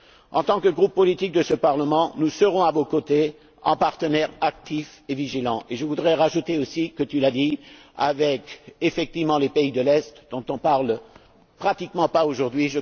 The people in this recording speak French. tous. En tant que groupe politique de ce Parlement, nous serons à vos côtés, en partenaire actif et vigilant, et je voudrais ajouter aussi, comme tu l'as dit, avec, effectivement, les pays de l'Est, dont on ne parle pratiquement pas aujourd'hui.